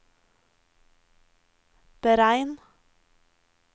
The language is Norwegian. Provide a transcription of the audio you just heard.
beregn